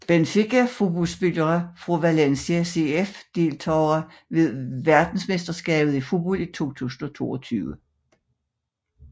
Benfica Fodboldspillere fra Valencia CF Deltagere ved verdensmesterskabet i fodbold 2022